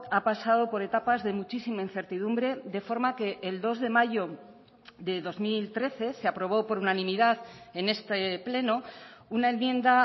ha pasado por etapas de muchísima incertidumbre de forma que el dos de mayo de dos mil trece se aprobó por unanimidad en este pleno una enmienda